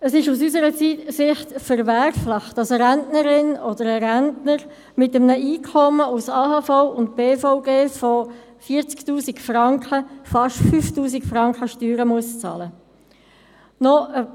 Es ist, aus unserer Sicht verwerflich, dass eine Rentnerin oder ein Rentner mit einem Einkommen aus AHV und beruflicher Vorsorge von 40 000 Franken fast 5 000 Franken Steuern bezahlen muss.